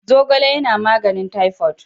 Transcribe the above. Zogale yana magnin typhoid.